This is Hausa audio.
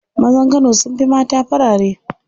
Mazan kano sun fi mata farare.